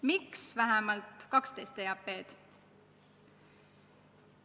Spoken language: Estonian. Miks vähemalt 12 EAP-d?